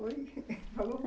foi e falou.